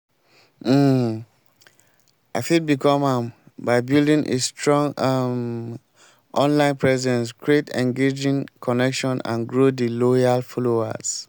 um i fit become am by building a strong um online presence create engaging connection and grow di loyal followers.